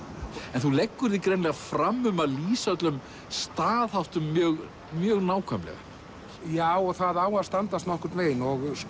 en þú leggur þig greinilega fram um að lýsa öllum staðháttum mjög mjög nákvæmlega já og það á að standast nokkurn veginn